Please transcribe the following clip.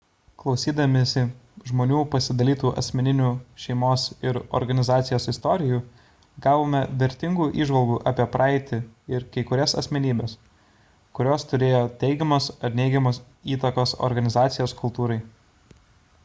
klausydamiesi žmonių pasidalytų asmeninių šeimos ir organizacijos istorijų gavome vertingų įžvalgų apie praeitį ir kai kurias asmenybes kurios turėjo teigiamos ar neigiamos įtakos organizacijos kultūrai